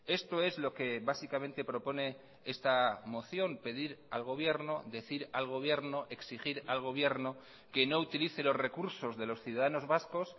esto es lo que básicamente propone esta moción pedir al gobierno decir al gobierno exigir al gobierno que no utilice los recursos de los ciudadanos vascos